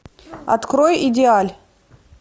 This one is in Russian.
открой идеаль